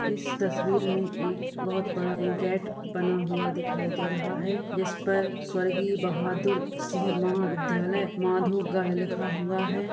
इस तस्वीर मे एक बोहोत बड़ा गेट बना हुआ दिखाई दे रहा है जिस पर स्वर्गीय बहादुर सिंह महाविद्यालय माधोगढ़ लिखा हुआ है।